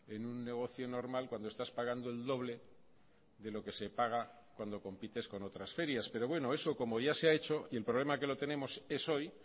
en un negocio normal cuando estás pagando el doble de lo que se paga cuando compites con otras ferias pero bueno eso como ya se ha hecho y el problema que lo tenemos es hoy